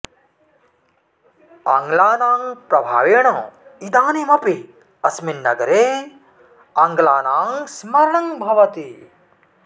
आङ्लानां प्रभावेण इदानीमपि अस्मिन् नगरे आङ्ग्लानां स्मरणं भवति